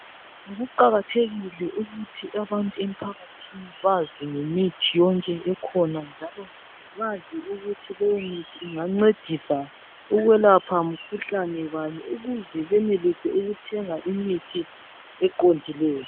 Kuqakathekile ukuthi abantu emphakathini bazi ngemithi yonke ekhona njalo bazi ukuthi leyo mithi ingancedisa ukwelapha mkhuhlane bani ukuze benelise ukuthenga imkhuhlane eqondileyo.